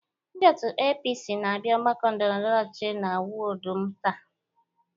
Ndi òtù APC na-abia ọgbakọ ndọrọndọrọ ọchịchị na wọdụ m taa.